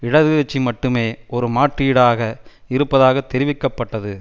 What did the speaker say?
இடது கட்சி மட்டுமே ஒரு மாற்றீடாக இருப்பதாக தெரிவிக்க பட்டது